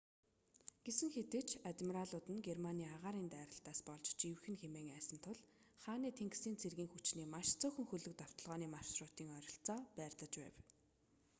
гэсэн хэдий ч адмиралууд нь германы агаарын дайралтаас болж живэх нь хэмээн айсан тул хааны тэнгисийн цэргийн хүчний маш цөөхөн хөлөг довтолгооны маршрутын ойролцоо байрлаж байв